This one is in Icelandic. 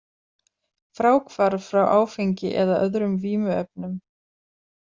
Fráhvarf frá áfengi eða öðrum vímuefnum.